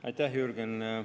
Aitäh, Jürgen!